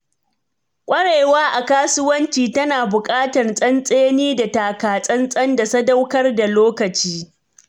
Ƙwarewa a kasuwanci tana buƙatar tsantseni da takatsantsan da sadaukar da lokaci.